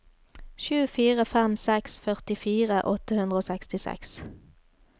sju fire fem seks førtifire åtte hundre og sekstiseks